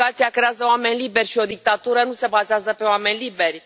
educația creează oameni liberi și o dictatură nu se bazează pe oameni liberi.